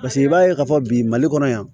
Paseke i b'a ye k'a fɔ bi mali kɔnɔ yan